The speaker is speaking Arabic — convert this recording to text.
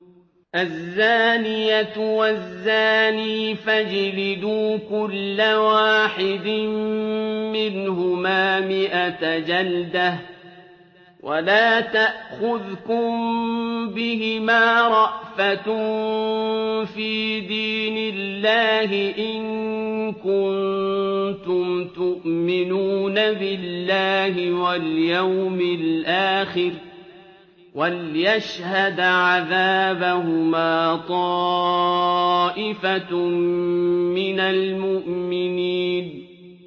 الزَّانِيَةُ وَالزَّانِي فَاجْلِدُوا كُلَّ وَاحِدٍ مِّنْهُمَا مِائَةَ جَلْدَةٍ ۖ وَلَا تَأْخُذْكُم بِهِمَا رَأْفَةٌ فِي دِينِ اللَّهِ إِن كُنتُمْ تُؤْمِنُونَ بِاللَّهِ وَالْيَوْمِ الْآخِرِ ۖ وَلْيَشْهَدْ عَذَابَهُمَا طَائِفَةٌ مِّنَ الْمُؤْمِنِينَ